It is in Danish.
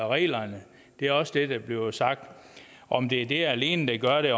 reglerne det er også det der bliver sagt om det er det alene der gør det